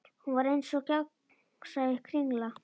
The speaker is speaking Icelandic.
Hún var eins og gegnsæ kringla.